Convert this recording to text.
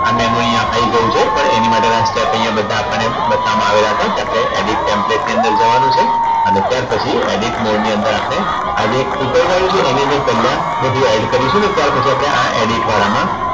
આ મેનુ અહીંયા આવી ગયું છે પણ એની માટે ના step અહીંયા આપણને બધા બતાવવામાં આવેલા છે જે આપણે Edit template ની અંદર જવાનું છે. અને ત્યાર પછી Edit mode ની અંદર આપણે આજે એક Flutter વાળું છે એની અંદર પેલા બધું add કરીશું ને ત્યાર પછી આપણે આ edit વાળામાં